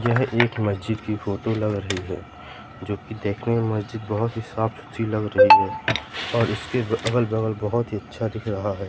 यह एक मस्जिद की फोटो लग रहीं हैं जो की देखने में मस्जिद बहोत ही सॉफ्ट अच्छी लग रहीं हैं और इसके अगल-बगल बहोत ही अच्छा दिख रहा हैं।